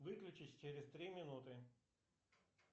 выключись через три минуты